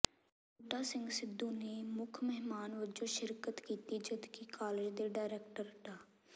ਬੂਟਾ ਸਿੰਘ ਸਿੱਧੂ ਨੇ ਮੁੱਖ ਮਹਿਮਾਨ ਵਜੋਂ ਸ਼ਿਰਕਤ ਕੀਤੀ ਜਦਕਿ ਕਾਲਜ ਦੇ ਡਾਇਰੈਕਟਰ ਡਾ